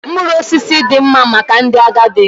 Mkpụrụ osisi dị mma maka ndị agadi